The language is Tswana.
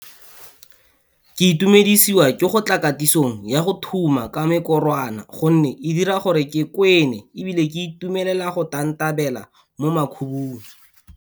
Ke itumedisiwa ke go tla katisong ya go thuma ka mekorwana gonne e dira gore ke kwene ebile ke itumelela go tantabela mo makhubung.